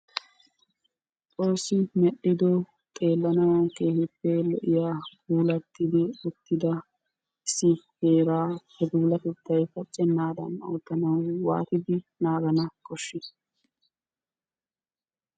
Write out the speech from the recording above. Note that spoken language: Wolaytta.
Xoosi medhdhido xeelanawu keehippe lo'iyaa puulattidi uttida issi heera he puulattetay pacenaddan oottana waatidi naagana koshshi?